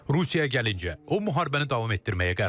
Rusiyaya gəlincə, o müharibəni davam etdirməyə qərarlıdır.